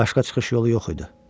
Başqa çıxış yolu yox idi.